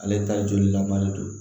Ale ta jolilaba de don